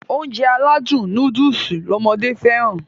Ounjẹ aládùn nóódùsì lọmọdé fẹ́ràn